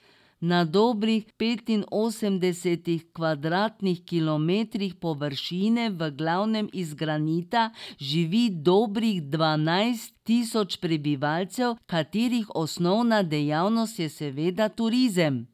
Na dobrih petinosemdesetih kvadratnih kilometrih površine, v glavnem iz granita, živi dobrih dvanajst tisoč prebivalcev, katerih osnovna dejavnost je seveda turizem.